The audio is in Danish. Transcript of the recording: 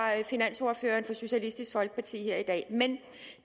finansordføreren for socialistisk folkeparti her i dag men